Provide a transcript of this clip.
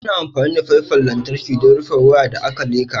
Ana amfani da faifan lantarki don rufe waya da aka leka.